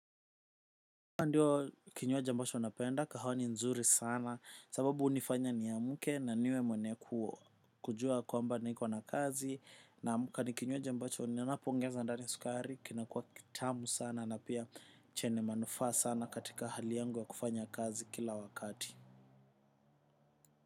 Ndio kinywaji ambacho napenda. Kahawa ni nzuri sana sababu hunifanya niamke na niwe mwenye kujua kwamba niko na kazi naamka ni kinywaji ambacho ninapoongeza ndani sukari kinakua kitamu sana na pia chenye manufaa sana katika hali yangu wa kufanya kazi kila wakati.